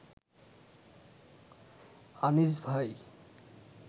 আনিস ভাই